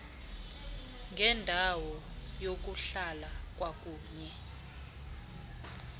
ngendawo yokuhlala kwakunye